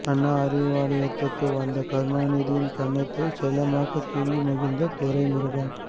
அண்ணா அறிவாலயத்துக்கு வந்த கருணாநிதியின் கன்னத்தை செல்லமாக கிள்ளி மகிழ்ந்த துரைமுருகன்